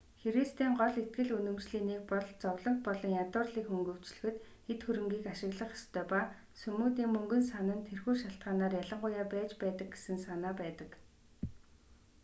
христийн гол итгэл үнэмшлийн нэг бол зовлонг болон ядуурлыг хөнгөвчлөхөд эд хөрөнийг ашиглах ёстой ба сүмүүдийн мөнгөн сан нь тэрхүү шалтгаанаар ялангуяа байж байдаг гэсэн санаа байдаг